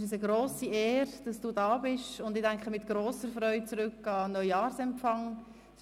Es ist uns eine grosse Ehre, dass Sie hier sind, und ich denke mit grosser Freude an den Neujahrsempfang zurück.